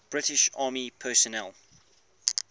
british army personnel